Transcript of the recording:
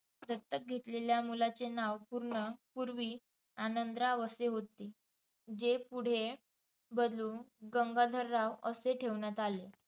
दत्तक घेतलेल्या मुलाचे नाव पूर्ण पूर्वी आनंदराव असे होते. जे पुढे बदलून गंगाधरराव असे ठेवण्यात आले.